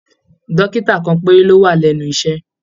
Dókítà kan péré ló wà lẹnu iṣẹ.